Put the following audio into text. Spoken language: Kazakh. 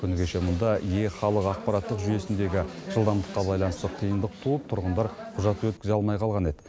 күні кеше мұнда е халық ақпараттық жүйесіндегі жылдамдыққа байланысты қиындық туып тұрғындар құжат өткізе алмай қалған еді